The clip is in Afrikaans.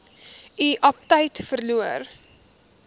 u aptyt verloor